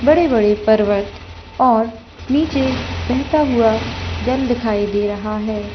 बड़े-बड़े पर्वत और नीचे बहता हुआ जल दिखाई दे रहा है।